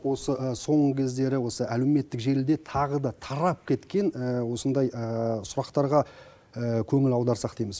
осы соңғы кездері осы әлеуметтік желіде тағы да тарап кеткен осындай сұрақтарға көңіл аударсақ дейміз